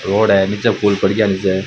Road है निचे फूल पड़गा नीच।